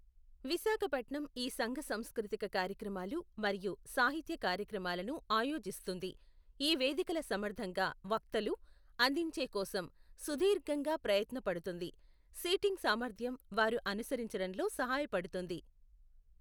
విశాఖపట్నం ఈ సంఘసంస్కృతిక కార్యక్రమాలు మరియు సాహిత్య కార్యక్రమాలను ఆయోజిస్తుంది. ఈ వేదికల సమర్థంగా వక్తలు అందించే కోసం సుదీర్ఘంగా ప్రయత్న పడుతుంది, సీటింగ్ సామర్థ్యం వారు అనుసరించడంలో సహాయపడుతుంది.